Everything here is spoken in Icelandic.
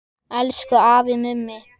Elsku afi Mummi.